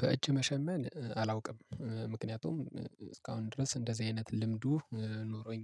በእጅ መሸመን አላውቅም ምክንያቱም እስካሁን ድረስ እንደዚህ አይነት ልምዱ ኖሮኝ